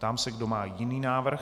Ptám se, kdo má jiný návrh.